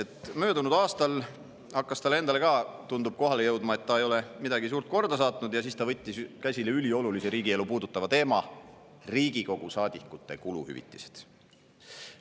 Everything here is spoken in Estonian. Tundub, et möödunud aastal hakkas talle endale ka kohale jõudma, et ta ei ole midagi suurt korda saatnud, ja siis ta võttis käsile üliolulise riigielu puudutava teema: Riigikogu liikmete kuluhüvitised.